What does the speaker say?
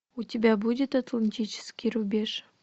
у тебя будет атлантический рубеж